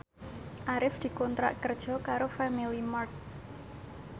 Arif dikontrak kerja karo Family Mart